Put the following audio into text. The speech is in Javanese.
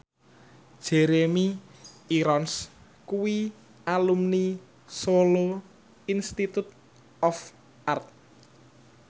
Jeremy Irons kuwi alumni Solo Institute of Art